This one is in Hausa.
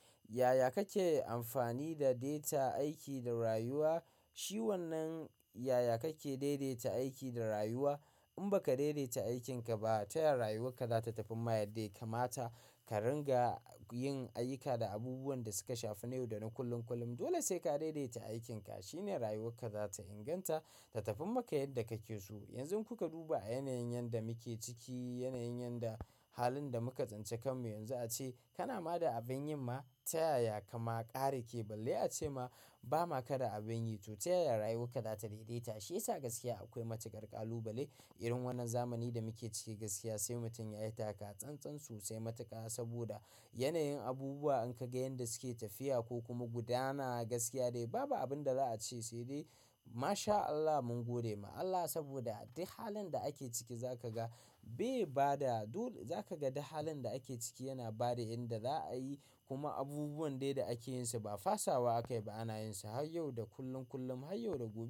Ya ya kake amfani da data aiki da rayuwa? Shi wannan yaya kake daidaita aiki da rayuwa? In baka daidaita aikinka ba, ta ya ya rayuwarka za ta tafiin maka yadda kamata ka ringa yin ayyuka da abubuwan da suka shafi na yau da na kullum kullum. Dole sai ka daidaita aikinka. Shi ne rayuwarka za ta inganta ta tafi maka yadda kake so, yanzu in kuka duba a yanayin yadda muke ciki na yanayin yadda halin da muka tsinci kanmu yanzu a ce kana ma da abin yi ma ta ya ya ka ma ƙarake balle a ce ma bama ka da abin yi to ta ya ya rayuwarka za ta inganta. Shi yasa gaskiya akwai matuƙar ƙalubale irin wannan zamanin da muke ciki gaskiya sai mutum ya yi taka-tsantsan sosai matuƙa saboda yanayin abubuwa in ka ga yadda suke tafiya ko kuma gudana gaskiya dai babu abin da za a ce sai dai masha Allah mun godewa Allah saboda duk halin da ake ciki zaka ga bai bada duk zaka ga duk halin da ake ciki yana bada yadda za a yi kuma abubuwan dai da ake yinsu ba fasawa aka yi ba ana yin su har yau da kullum kullum har yau da gobe.